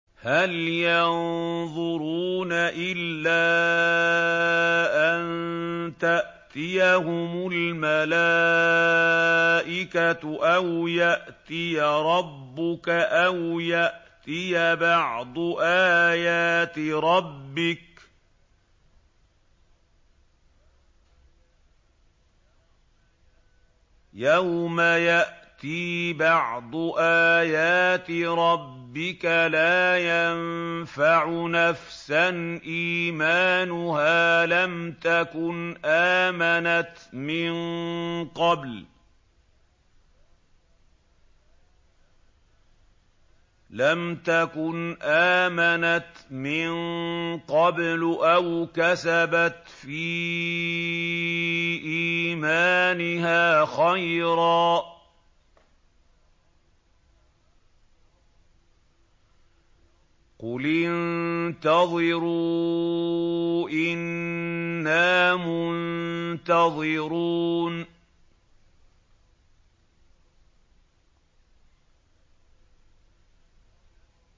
هَلْ يَنظُرُونَ إِلَّا أَن تَأْتِيَهُمُ الْمَلَائِكَةُ أَوْ يَأْتِيَ رَبُّكَ أَوْ يَأْتِيَ بَعْضُ آيَاتِ رَبِّكَ ۗ يَوْمَ يَأْتِي بَعْضُ آيَاتِ رَبِّكَ لَا يَنفَعُ نَفْسًا إِيمَانُهَا لَمْ تَكُنْ آمَنَتْ مِن قَبْلُ أَوْ كَسَبَتْ فِي إِيمَانِهَا خَيْرًا ۗ قُلِ انتَظِرُوا إِنَّا مُنتَظِرُونَ